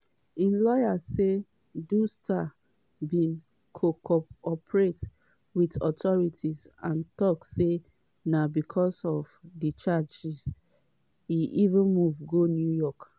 im lawyer say du star bin co-operate wit authorities and tok say na becos of di charges e even move go new york.